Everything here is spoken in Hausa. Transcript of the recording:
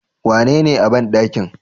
Wanene a banɗakin?